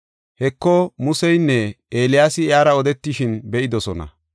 Heko, Museynne Eeliyaasi iyara odetishin be7idosona.